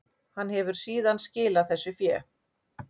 Hann hefur síðan skilað þessu fé